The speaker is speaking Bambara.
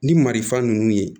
Ni marifa ninnu ye